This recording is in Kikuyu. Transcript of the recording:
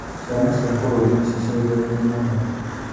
Ciaca cia bũrũri nĩcicenjetie mũno.